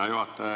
Hea juhataja!